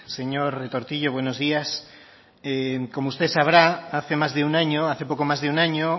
señor retortillo buenos días como usted sabrá hace más de un año hace poco más de un año